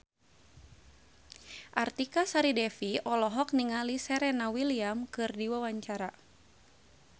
Artika Sari Devi olohok ningali Serena Williams keur diwawancara